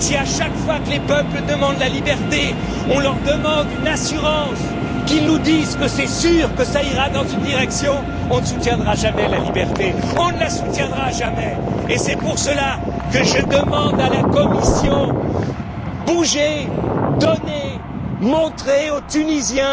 Si à chaque fois que les peuples demandent la liberté, on leur demande une assurance, qu'ils nous disent que c'est sûr que ça ira dans une direction, on ne soutiendra jamais la liberté et c'est pour cela que je demande à la Commission bougez, donnez, montrez aux Tunisiens